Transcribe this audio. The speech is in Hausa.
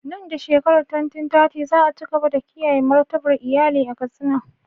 Nan da shekarar 2030, za a ci gaba da kiyaye martabar iyalin a Katsina.